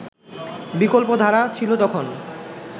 বিকল্পধারা ছিল তখন